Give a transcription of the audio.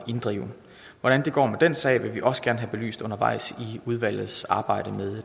inddrive hvordan det går med den sag vil vi også gerne have belyst undervejs i udvalgets arbejde med